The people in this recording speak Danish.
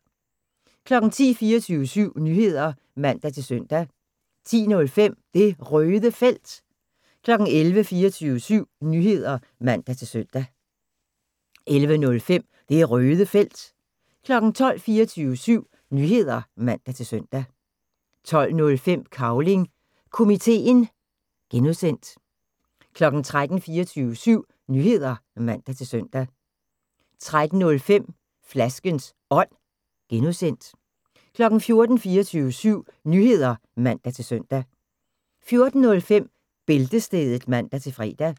10:00: 24syv Nyheder (man-søn) 10:05: Det Røde Felt 11:00: 24syv Nyheder (man-søn) 11:05: Det Røde Felt 12:00: 24syv Nyheder (man-søn) 12:05: Cavling Komiteen (G) 13:00: 24syv Nyheder (man-søn) 13:05: Flaskens Ånd (G) 14:00: 24syv Nyheder (man-søn) 14:05: Bæltestedet (man-fre)